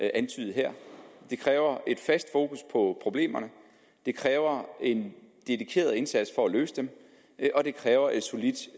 antydet her det kræver et fast fokus på problemerne det kræver en dedikeret indsats for at løse dem og det kræver et solidt